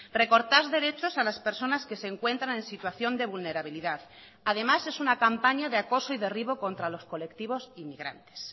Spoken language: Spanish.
recortar derechos a las personas que se encuentran en situación de vulnerabilidad además es una campaña de acoso y derribo contra los colectivos inmigrantes